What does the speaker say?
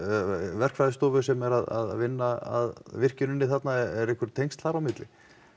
verkfræðistofu sem er að vinna að virkjuninni þarna eru einhver tengsl þar á milli